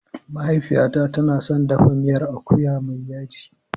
Mahaifiyata tana son dafa miyar akuya mai yaji.